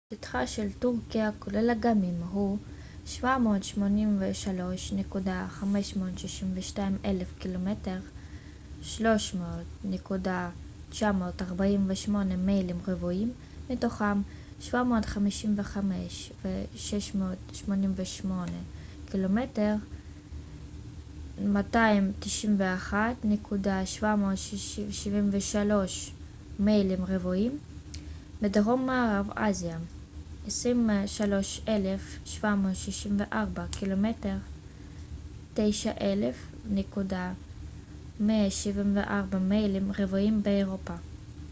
"שטחה של טורקיה כולל אגמים הוא 783,562 קמ""ר 300,948 מיילים רבועים מתוכם 755,688 קמ""ר 291,773 מיילים רבועים בדרום מערב אסיה ו-23,764 קמ""ר 9,174 מיילים רבועים באירופה.